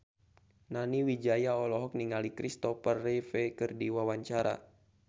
Nani Wijaya olohok ningali Christopher Reeve keur diwawancara